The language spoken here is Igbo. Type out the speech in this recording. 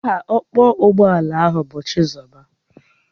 Aha ọkpọ ụgbọala ahụ bu Chizoba